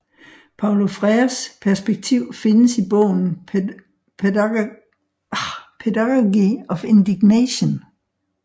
Paulo Freires perspektiv findes i bogen Pedagogy of Indignation